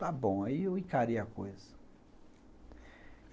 Está bom, aí eu encarei a coisa.